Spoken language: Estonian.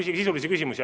Küsige sisulisi küsimusi.